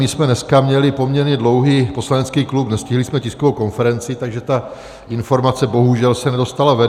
My jsme dneska měli poměrně dlouhý poslanecký klub, nestihli jsme tiskovou konferenci, takže ta informace bohužel se nedostala ven.